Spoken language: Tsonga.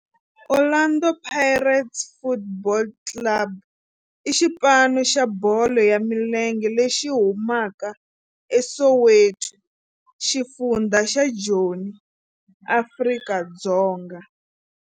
Orlando Pirates Football Club i xipano xa bolo ya milenge lexi humaka eSoweto, xifundzha xa Joni, Afrika-Dzonga.